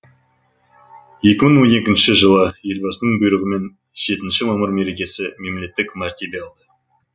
екі мың он екінші жылы елбасының бұйрығымен жетінші мамыр мерекесі мемлеттік мәртебе алды